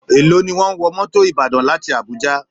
Èló ni wọ́n ń wọ mọ́tò Ìbàdàn láti Abuja?